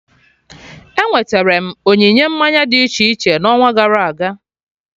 Enweterem onyinye mmanya dị iche iche n'ọnwa gara aga